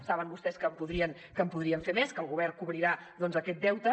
saben vostès que en podrien fer més que el govern cobrirà doncs aquest deute